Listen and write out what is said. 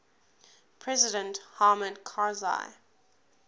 president hamid karzai